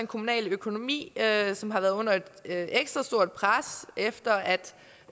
kommunale økonomi som har været under et ekstra stort pres efter